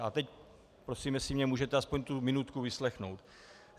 A teď prosím, jestli mě můžete aspoň tu minutku vyslechnout.